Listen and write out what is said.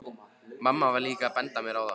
Mamma var líka að benda mér á það.